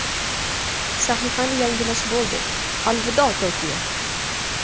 Sahifani yangilash Bo‘ldi, alvido Tokio!